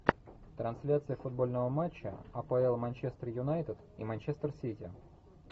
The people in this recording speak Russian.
трансляция футбольного матча апл манчестер юнайтед и манчестер сити